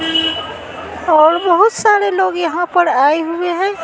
और बहुत सारे लोग यहां पर आए हुए हैं।